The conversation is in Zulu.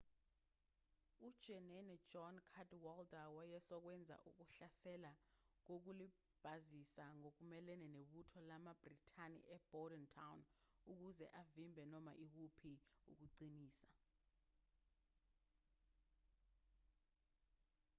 ujenene john cadwalder wayezokwenza ukuhlasela kokulibazisa ngokumelene nebutho lamabhrithani ebordentown ukuze avimbe noma ikuphi ukuqinisa